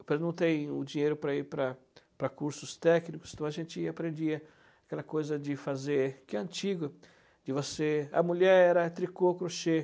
Eu perguntei o dinheiro para ir para para cursos técnicos, então a gente aprendia aquela coisa de fazer, que é antiga, de você... A mulher era tricô, crochê.